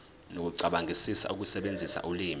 nokucabangisisa ukusebenzisa ulimi